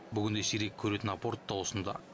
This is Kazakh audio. бүгінде сирек көретін апорт та осында